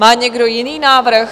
Má někdo jiný návrh?